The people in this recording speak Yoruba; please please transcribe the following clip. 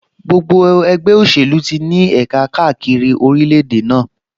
Gbogbo ẹgbẹ́ òṣèlú ti ní ẹ̀ka káàkiri orílẹ̀-èdè náà